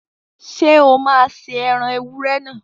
Ṣé o máa se ẹran ewúrẹ́ náà?